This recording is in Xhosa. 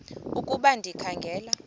ukuba ndikha ngela